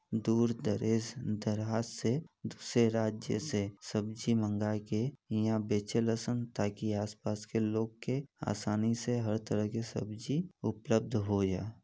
दूर दरेस दराज से दूसरे राज्य से सब्जी मांगके ईहा बेचे ल सन ताकि आसपास के लोग के आसानी से हर तरह के सब्जी उपलब्ध होजा।